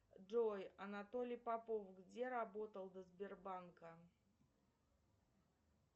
джой анатолий попов где работал до сбербанка